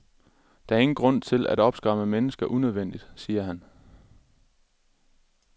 Der er ingen grund til at opskræmme mennesker unødvendigt, siger han.